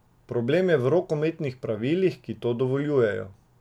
Problem je v rokometnih pravilih, ki to dovoljujejo.